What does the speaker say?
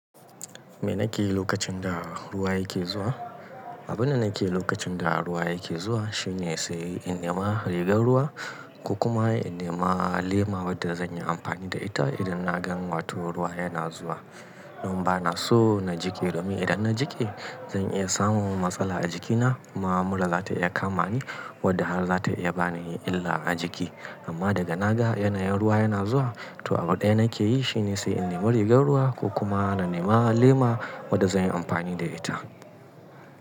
Me nake yi lokacin da ruwa yake zuwa? Abin da nake yi lokacin da ruwa yake zuwa shine sai in nema rigar ruwa ko kuma in nema lema wadda zan yi amfani da ita idan na gan wato ruwa yana zuwa. Don ba na so na jike domin idan na jike zan iya samun matsala a jikina kuma mura za ta iya kama ni wadda har za ta iya bani illa a jiki. Amma daga naga yanayin ruwa yana zuwa, to abin da nake yi shine sai in nema rigar ruwa ko kuma na nema lema wadda zan yi amfani da ita.